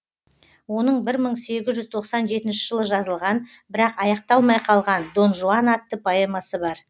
оның бір мың сегіз жүз тоқсан жетінші жылы жазылған бірақ аяқталмай қалған дон жуан атты поэмасы бар